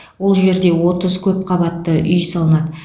ол жерде отыз көп қабатты үй салынады